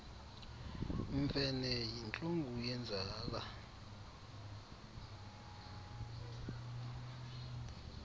mfene yintlungu yenzala